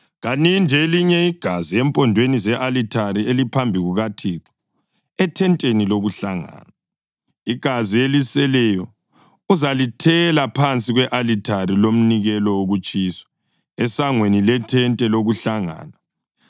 Kaninde elinye igazi empondweni ze-alithare eliphambi kukaThixo ethenteni lokuhlangana. Igazi eliseleyo uzalithela phansi kwe-alithari lomnikelo wokutshiswa, esangweni lethente lokuhlangana.